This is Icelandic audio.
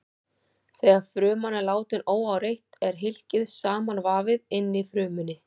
Þegar fruman er látin óáreitt er hylkið samanvafið inni í frumunni.